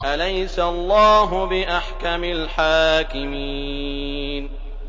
أَلَيْسَ اللَّهُ بِأَحْكَمِ الْحَاكِمِينَ